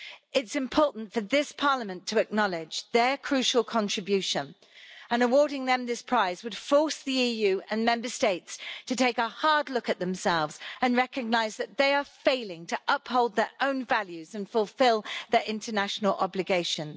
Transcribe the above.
It's important for this Parliament to acknowledge their crucial contribution and awarding them this prize would force the EU and Member States to take a hard look at themselves and recognise that they are failing to uphold their own values and fulfil their international obligations.